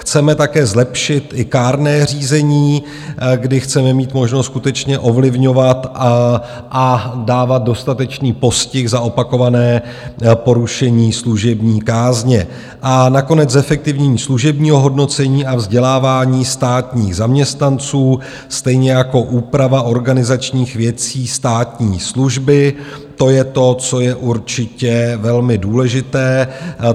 Chceme také zlepšit i kárné řízení, kdy chceme mít možnost skutečně ovlivňovat a dávat dostatečný postih za opakované porušení služební kázně, a nakonec zefektivnění služebního hodnocení a vzdělávání státních zaměstnanců, stejně jako úprava organizačních věcí státní služby, to je to, co je určitě velmi důležité.